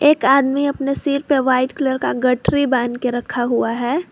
एक आदमी अपने सिर पर व्हाइट कलर का गठरी बांध के रखा हुआ है।